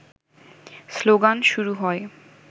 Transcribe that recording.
slogan শুরু হয়